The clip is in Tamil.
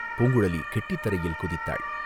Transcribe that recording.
பூங்குழலி கெட்டித்தரையில் குதித்தாள்.